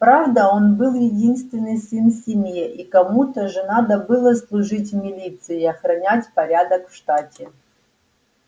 правда он был единственный сын в семье и кому-то же надо было служить в милиции и охранять порядок в штате